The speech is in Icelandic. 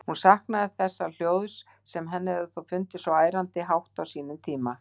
Hún saknaði þessa hljóðs, sem henni hafði þó fundist svo ærandi hátt á sínum tíma.